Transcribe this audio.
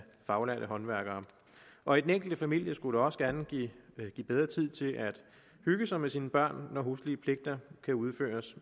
faglærte håndværkere og i den enkelte familie skulle det også gerne give mere tid til at hygge sig med sine børn når huslige pligter kan udføres